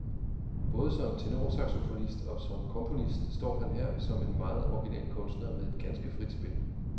Både som tenorsaxofonist og som komponist står han her som en meget original kunstner med et ganske frit spil.